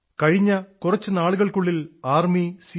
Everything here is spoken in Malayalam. കഴിഞ്ഞ കുറച്ചു സമയത്തിനുള്ളിൽ ആർമി സിഐഎസ്